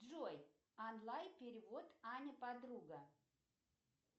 джой онлайн перевод аня подруга